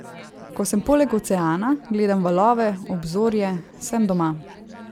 Ko sem poleg oceana, gledam valove, obzorje, sem doma.